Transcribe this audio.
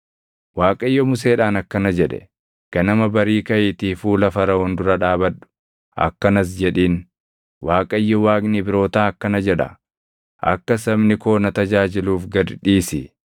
Waaqayyo Museedhaan akkana jedhe; “Ganama barii kaʼiitii fuula Faraʼoon dura dhaabadhu; akkanas jedhiin; ‘ Waaqayyo Waaqni Ibrootaa akkana jedha; akka sabni koo na tajaajiluuf gad dhiisi;